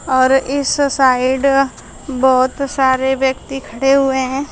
और इस साइड बहोत सारे व्यक्ति खड़े हुए हैं।